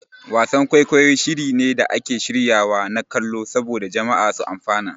Wasan-kwaikwayi shiri ne da ake shiryawa na kallo saboda jama'a su amfana.